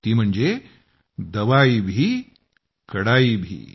ती म्हणजे दवाई भी कडाई भी